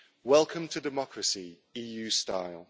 Welcome to democracy, EU style.